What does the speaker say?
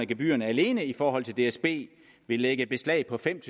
gebyrerne alene i forhold til dsb vil lægge beslag på fem